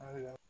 Ayiwa